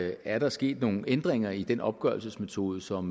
er der sket nogle ændringer i den opgørelsesmetode som